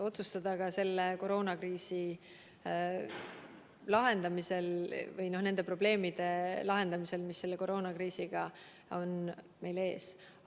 Otsustada ka selle koroonakriisi lahendamine või nende probleemide lahendamine, mis selle koroonakriisi tõttu on meie ees.